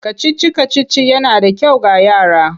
Kacici-kacici yana da kyau ga yara.